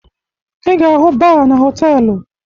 Ị ga-ahụ baa na họtelu